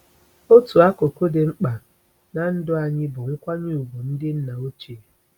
Otu akụkụ dị mkpa ná ndụ anyị bụ nkwanye ùgwù ndị nna ochie.